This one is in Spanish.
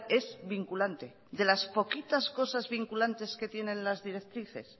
es vinculante de las poquitas cosas vinculantes que tienen las directrices